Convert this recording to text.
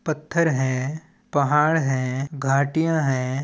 पत्थर है पहाड़ है घटिया है।